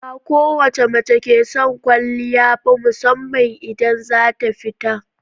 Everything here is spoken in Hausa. Ba kowace mace ke son kwaliya ba musamman idan za ta fita.